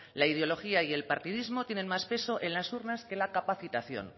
la ideología y el partidismo tienen más peso en las urnas que en la capacitación